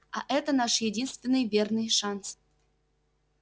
а это наш единственный верный шанс